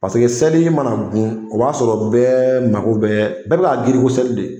Paseke seli mana gun o b'a sɔrɔ bɛɛ mago bɛ bɛɛ ka girin ko seli de